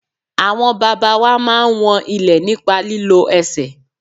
Àwọn bàbá wa máa ń wọn ilẹ̀ nípa lílo ẹsẹ̀.